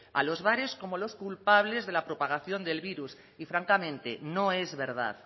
a los bares como los culpables de la propagación del virus y francamente no es verdad